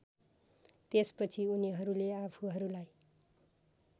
त्यसपछि उनीहरूले आफूहरूलाई